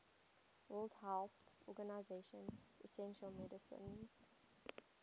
world health organization essential medicines